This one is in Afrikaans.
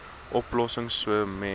oplossings sou moes